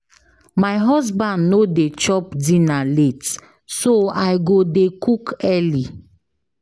My husband no dey chop dinner late so I go dey cook early.